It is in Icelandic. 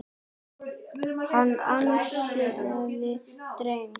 Hann ansaði dræmt.